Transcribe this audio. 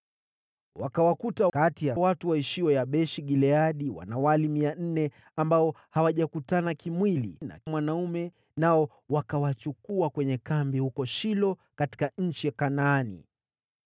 Wakakuta kati ya watu walioishi Yabeshi-Gileadi wanawali mia nne ambao hawajakutana kimwili na mwanaume, nao wakawachukua kwenye kambi huko Shilo katika nchi ya Kanaani.